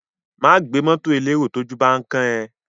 Má gbé mọ́tọ̀ elérò tójú bán kán ẹ.